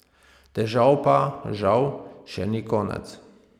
Težav pa, žal, še ni konec.